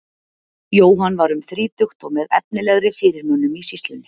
Jóhann var um þrítugt og með efnilegri fyrirmönnum í sýslunni.